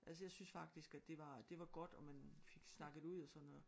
Altså jeg syntes faktisk at det var det var godt og man fik snakket ud og sådan noget